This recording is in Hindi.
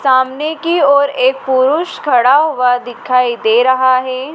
सामने की ओर एक पुरुष खड़ा हुआ दिखाई दे रहा हैं।